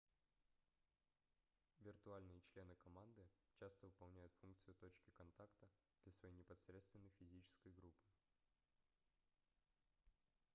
виртуальные члены команды часто выполняют функцию точки контакта для своей непосредственной физической группы